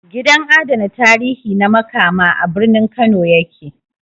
Gidan adana tarihi na Makama, a birnin Kano ya ke